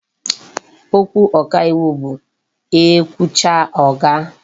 Okwu ọka iwu bụ e kwuchaa, ọ gụ.